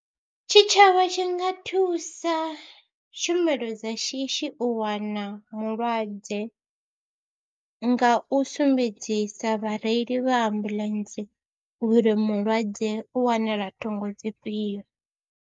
Tshitshavha tshi nga thusa tshumelo dza shishi u wana mulwadze nga u sumbedzisa vhareili vha ambuḽentse uri mulwadze u wanala thungo dzifhio.